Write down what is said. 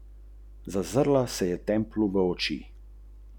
Tsonga je ostal pri devetih turnirskih zmagah.